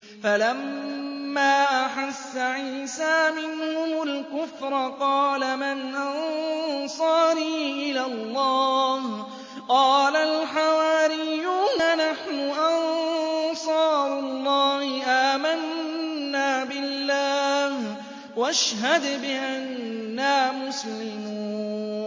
۞ فَلَمَّا أَحَسَّ عِيسَىٰ مِنْهُمُ الْكُفْرَ قَالَ مَنْ أَنصَارِي إِلَى اللَّهِ ۖ قَالَ الْحَوَارِيُّونَ نَحْنُ أَنصَارُ اللَّهِ آمَنَّا بِاللَّهِ وَاشْهَدْ بِأَنَّا مُسْلِمُونَ